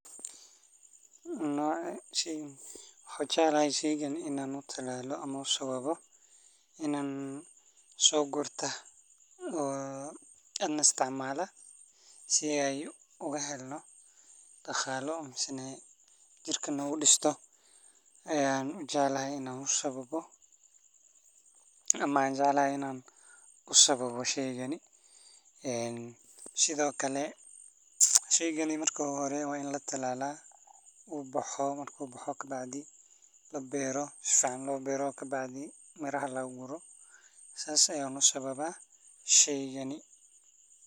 Barbaroonigu waa nooc ka mid ah khudradda laga beerto dalagyada cagaaran, wuxuuna kamid yahay cuntooyinka caafimaadka u roon ee hodanka ku ah fiitamiinnada iyo macdanta. Abuurka barbarooniga waxaa laga keenaa mirihiisa, waxaana inta badan la beeraa iyadoo la adeegsanayo carrada bacrin ah, biyo ku filan, iyo qorrax dhexdhexaad ah. Kahor inta aan la beerin abuurka, waxaa muhiim ah.